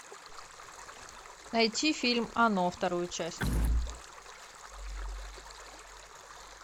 найти фильм оно вторую часть